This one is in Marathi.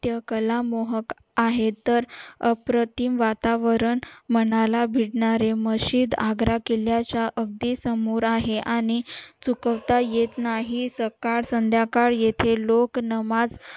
कला मोहक आहे तर अप्रतिम वातावरण मनाला भिडणारे मशीद आग्रा च्या अगदी समोर आहे आणि चुकवता येत नाही सकाळ संध्यकाळ येथे लोक नमाज